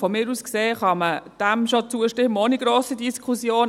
Aus meiner Sicht kann man dem schon zustimmen ohne grosse inhaltliche Diskussion.